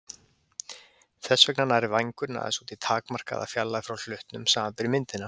Þess vegna nær vængurinn aðeins út í takmarkaða fjarlægð frá hlutnum, samanber myndina.